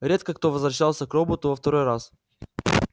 редко кто возвращался к роботу во второй раз